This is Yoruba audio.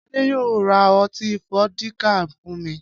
Adé yóò ra ọti fódíkà fún mi.